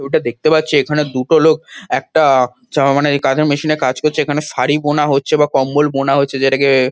ছবিটা দেখতে পাচ্ছি এখানে দুটো লোক একটা-আ চা মানে এই কাজের মেশিন -এ কাজ করছে। এখানে শাড়ি বোনা হচ্ছে বা কম্বল বোনা হচ্ছে যেটাকে-এ--